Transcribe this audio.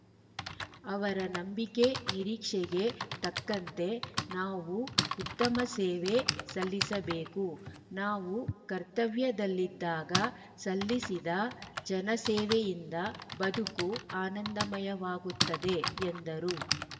ಅವರ ನಂಬಿಕೆ ನಿರೀಕ್ಷೆಗೆ ತಕ್ಕಂತೆ ನಾವು ಉತ್ತಮ ಸೇವೆ ಸಲ್ಲಿಸಬೇಕು ನಾವು ಕರ್ತವ್ಯದಲ್ಲಿದ್ದಾಗ ಸಲ್ಲಿಸಿದ ಜನಸೇವೆಯಿಂದ ಬದುಕು ಆನಂದಮಯವಾಗುತ್ತದೆ ಎಂದರು